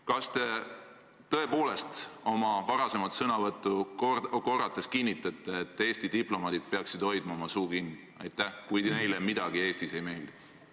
Kas te tõepoolest oma varasemaid sõnu korrates kinnitate, et Eesti diplomaadid peaksid hoidma oma suu kinni, kui neile midagi Eestis ei meeldi?